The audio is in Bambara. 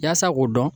Yaasa k'o dɔn